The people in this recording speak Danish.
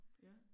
Ja